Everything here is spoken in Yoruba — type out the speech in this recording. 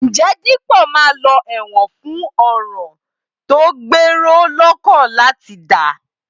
Ǹjẹ́ Dípọ̀ máa lọ ẹ̀wọ̀n fún ọ̀ràn tó gbèrò lọ́kàn láti dá?